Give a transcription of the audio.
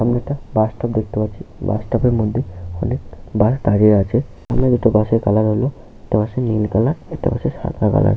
সামনে একটা bus stop দেখতে পাচ্ছি বাস স্টপ -এর মধ্যে অনেক বাস দাঁড়িয়ে আছে সামনে দুটো বাসের কালার হলো একটা নীল কালার আর একটা সাদা কালার ।